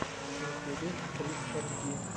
в ютюбе крис эм ди